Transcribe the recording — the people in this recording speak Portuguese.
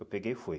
Eu peguei e fui.